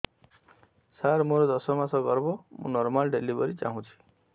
ସାର ମୋର ଦଶ ମାସ ଗର୍ଭ ମୁ ନର୍ମାଲ ଡେଲିଭରୀ ଚାହୁଁଛି